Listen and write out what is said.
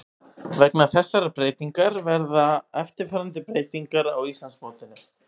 Vegna þessarar breytingar verða eftirfarandi breytingar á Íslandsmótinu: